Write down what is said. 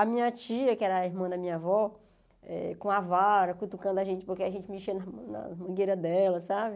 A minha tia, que era a irmã da minha avó, eh com a vara, cutucando a gente, porque a gente mexia na mangueira dela, sabe?